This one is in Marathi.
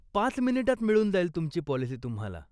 पाच मिनिटात मिळून जाईल तुमची पॉलिसी तुम्हाला.